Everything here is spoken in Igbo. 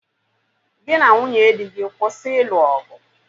Gị na nwunye dị gị kwụsị ịlụ ọgụ!